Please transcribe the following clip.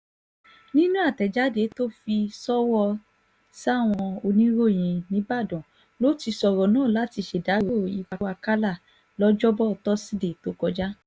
nínú àtẹ̀jáde tó fi ṣọwọ́ sáwọn oníròyìn nìbàdàn ló ti sọ̀rọ̀ náà láti ṣèdàrọ́ ikú àkàlà lọ́jọ́bọ tosidee tó kọjá